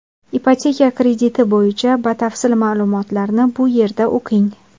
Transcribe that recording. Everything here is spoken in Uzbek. Ipoteka krediti bo‘yicha batafsil ma’lumotlarni bu yerda o‘qing: .